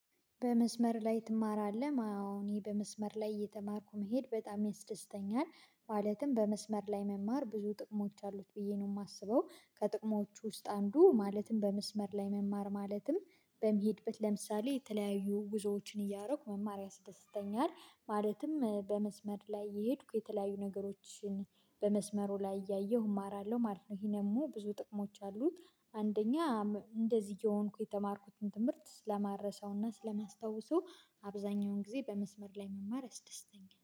በመስመር ላይ ትማራለህ አሁን ይሄ በመስመር ላይ እየተማርኩ መሄድ በጣም ያስደስተኛል ማለትም በመስመር ላይ መማር ብዙ ጥቅሞች አሉት ብዬ ነው የማስበው። ከጥቅሞቹ ውስጥ አንዱ ማለትም በመስመር ላይ መማር ማለትም በሚሄድበት ለምሳሌ የተለያዩ ጉዞዎችን እያደረኩ መማር ያስደስተኛል ማለትም በመስመር ላይ እየሄድኩ የተለያዩ ነገሮችን በመስመሩ ላይ እያየሁ እማራለሁ ማለት ነው። ይሄ ደግሞ ብዙ ጥቅሞች አሉት። አንደኛ እንደዚህ የሆንኩ የተማርኩትን ትምህርት ስማረሳውና ስለማስታውሱ አብዛኛውን ጊዜ በመስመር ላይ መማር ያስደስተኛል